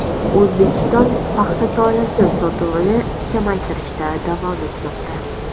O‘zbekiston paxta tolasi sotuvini kamaytirishda davom etmoqda.